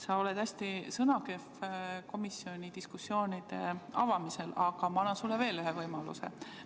Sa oled hästi sõnakehv komisjoni diskussioonide avamisel, aga ma annan sulle veel ühe võimaluse.